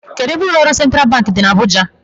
Kedụ ebe ụlọọrụ sentral bank dị n'Abuja?